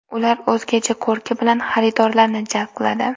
Ular o‘zgacha ko‘rki bilan xaridorlarni jalb qiladi.